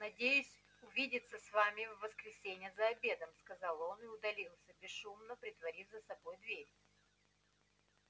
надеюсь увидеться с вами в воскресенье за обедом сказал он и удалился бесшумно притворив за собой дверь